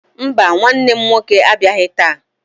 Mba, nwanne m nwoke abịaghị taa.